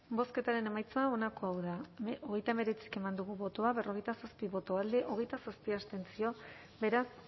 bozketaren emaitza onako izan da hogeita hemeretzi eman dugu bozka berrogeita zazpi boto alde veintisiete contra beraz